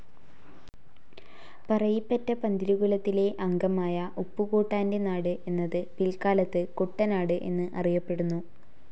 പറയിപെറ്റ പന്തിരു കുലത്തിലെ അംഗമായ ഉപ്പുകൂട്ടാൻ്റെ നാട് എന്നത് പിൽക്കാലത്തു കുട്ടനാട് എന്ന് അറിയപ്പെടുന്നു.